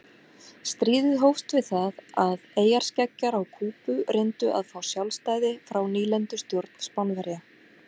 Stríðið hófst við það að eyjarskeggjar á Kúbu reyndu að fá sjálfstæði frá nýlendustjórn Spánverja.